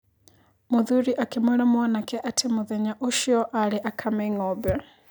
Mũthuri akĩmwĩra mwanake atĩ mũthenya ũcio arĩ akame ng'ombe.